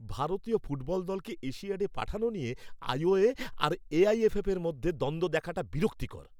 ভারতীয় ফুটবল দলকে এশিয়াডে পাঠানো নিয়ে আই.ও.এ আর এ.আই.এফ.এফের মধ্যে দ্বন্দ্ব দেখাটা বিরক্তিকর।